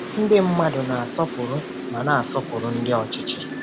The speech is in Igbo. Ndị mmadụ na-asọpụrụ ma na-asọpụrụ ndị ọchịchị.